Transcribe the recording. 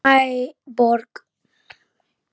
Verst að Ægir getur ekki komið líka.